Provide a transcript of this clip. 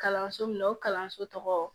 Kalanso min na o kalanso tɔgɔ